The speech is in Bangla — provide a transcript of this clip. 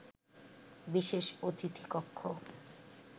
বিশেষ অতিথি কক্ষ